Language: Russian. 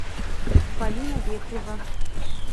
полина вепрева